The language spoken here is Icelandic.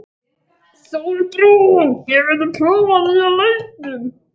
Sólbrún, hefur þú prófað nýja leikinn?